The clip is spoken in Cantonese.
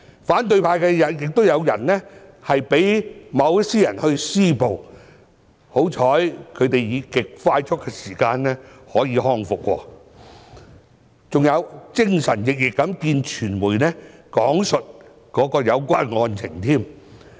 反對派也有人被某些人施襲，幸好他們以極快速的時間康復，還精神奕奕的會見傳媒，講述當時的有關案情。